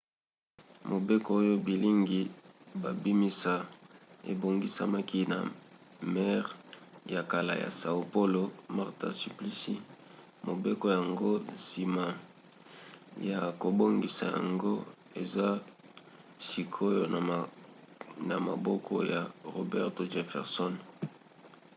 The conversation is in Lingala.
mobeko oyo bilingi babimisa ebongisamaki na maire ya kala ya são paulo marta suplicy. mobeko yango nsima ya kobongisa yango eza sikoyo na maboko ya roberto jefferson